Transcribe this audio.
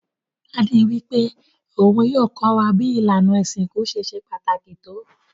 Daddy wípé oun yio ko wa bi ìlànà ìsinkú ṣe se pàtàkì to